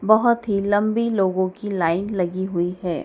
बहुत ही लंबी लोगों की लाइन लगी हुई है।